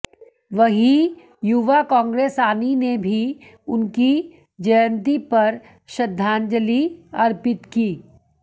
वहीं युवा कांग्रेस आनी ने भी उनकी जयंति पर श्रद्धांजलि अर्पित की